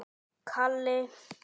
Hvenær kemur bókin þín út?